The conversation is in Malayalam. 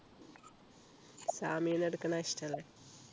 സാമിയെന്നു എടുക്കുന്നതാ ഇഷ്ടല്ലേ